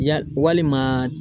Ya walima.